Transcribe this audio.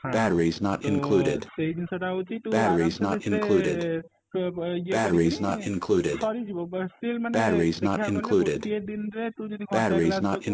ହଁ ତୁ ସେଇ ଜିନିଷ ଟା ହଉଛି ତୁ ଆରାମ ସେ ସେଇ ଥିରେ ଇଏ କରିକିନି ସରିଯିବ still ମାନେ ଦେଖିବାକୁ ଗଲେ ଗୋଟିଏ ଦିନ ରେ ତୁ ଯଦି ଘଣ୍ଟାଏ class କରିଛୁ